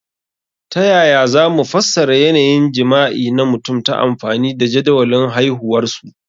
Ta yaya za mu fassara yanayin jima'i na mutum ta amfani da jadawalin haihuwarsu?